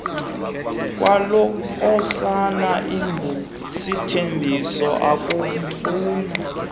kwalonkosana ingusithembiso akamfuna